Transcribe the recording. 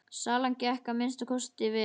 Salan gekk að minnsta kosti vel.